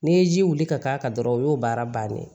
N'i ye ji wuli ka k'a kan dɔrɔn o y'o baara bannen ye